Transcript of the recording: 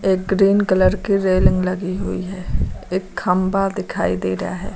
Green colour की railing लगी हुई है एक खंबा दिखाई दे रहा है।